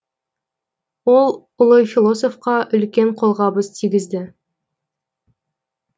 ол ұлы философқа үлкен қолғабыс тигізді